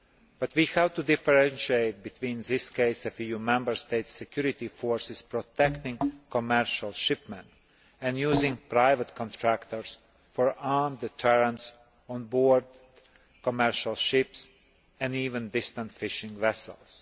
But we have to differentiate between this case of EU Member States' security forces protecting commercial shipment and using private contractors for armed deterrence on board commercial ships and even distant fishing vessels.